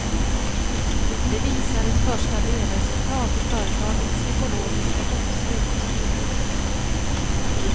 Det visar ett första delresultat i företagets ekologiska bokslut.